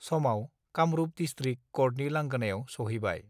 समाव कामरूप डिस्ट्रिक कर्टनि लांगोनायाव सहैबाय